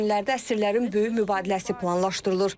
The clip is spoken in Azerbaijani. Bu günlərdə əsirlərin böyük mübadiləsi planlaşdırılır.